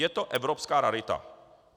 Je to evropská rarita.